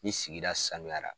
Ni sigida sanuyala.